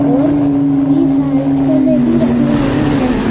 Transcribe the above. और e cycle भी रखी हुई है।